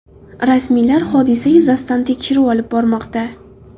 Rasmiylar hodisa yuzasidan tekshiruv olib bormoqda.